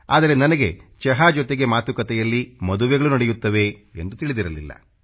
ಆದರೆ ನನಗೆ ಚಹಾ ಜೊತೆಗೆ ಮಾತುಕತೆಯಲ್ಲಿ ಮದುವೆಗಳೂ ನಡೆಯುತ್ತವೆ ಎಂದು ತಿಳಿದಿರಲಿಲ್ಲ